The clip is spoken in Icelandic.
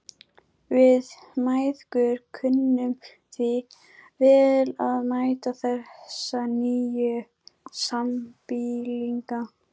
Við mæðgur kunnum því vel að meta þessa nýju sambýlinga.